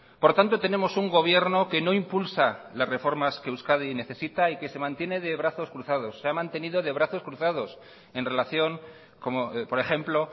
por tanto tenemos un gobierno que no impulsa las reformas que euskadi necesita y que se mantiene de brazos cruzados se ha mantenido de brazos cruzados en relación como por ejemplo